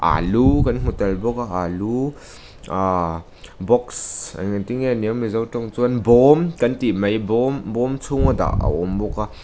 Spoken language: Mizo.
alu kan hmu tel bawk a alu aa box engtin nge ni ang mizo ṭawng chuan bawm kan tih mai bawm bawm chhunga dah a awm bawk a.